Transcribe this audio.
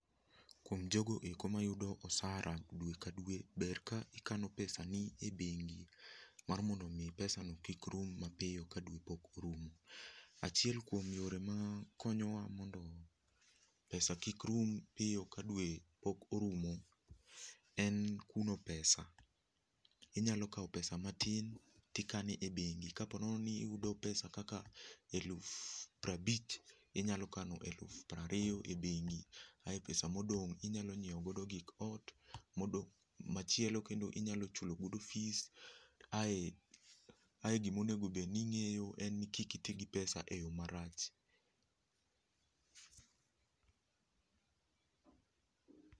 Kuom jogo eko mayudo osara dwe ka dwe, ber ka ikano pesani e bengi mar mondo mii pesano kik rum mapio ka dwe pok orumo. Achiel kwom yore makonyowa mondo pesa kik rum piyo ka dwe pok orumo en kuno pesa. Inyalo kao pesa matin tikane e bengi ka ponono niyudo pesa kaka eluf prabich inyalo kano eluf prario e bengi ae pesa modong' inyalo nyieo godo gik ot modo, machielo kendo inyalo chulogodo fees. Ae ae gimonego bed ning'eyo enni kik itii gi pes a e yoo marach.